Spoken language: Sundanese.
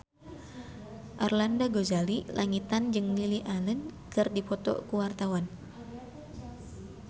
Arlanda Ghazali Langitan jeung Lily Allen keur dipoto ku wartawan